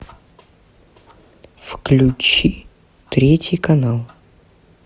включи третий канал